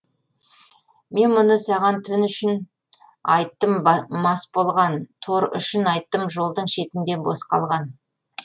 мен мұны саған түн үшін айттым мас болған тор үшін айттым жолдың шетінде бос қалған